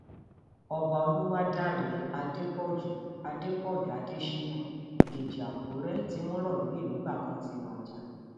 ọba olúwadáre adépọ̀jù adépọ̀jù adésínà dèjì àkùrẹ tí wọn rọ lóyè nígbà kan ti wájà